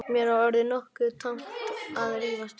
Mér var orðið nokkuð tamt að rífast við hann.